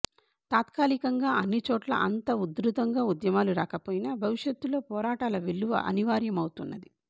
తాత్కాలికంగా అన్ని చోట్లా అంత ఉధృతంగా ఉద్యమాలు రాకపోయినా భవిష్యత్లో పోరాటాల వెల్లువ అనివార్యమౌతున్నది